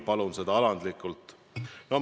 Palun seda alandlikult!